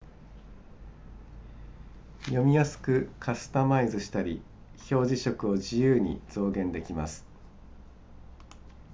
読みやすくカスタマイズしたり表示色を自由に増減できます